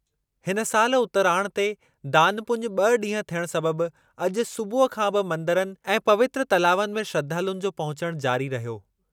हिन सालि उतराण ते दानु पुञु ॿ ॾींहं थियण सबबि अॼु सूबुह खां बि मंदरनि ऐं पवित्र तलावनि में श्रधालुनि जो पहुचण जारी रहियो।